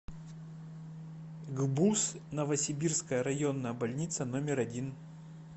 гбуз новосибирская районная больница номер один